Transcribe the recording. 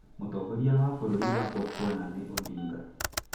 Mũtongoria wa bũrũri wa Botswana nĩ Odinga.